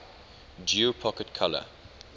geo pocket color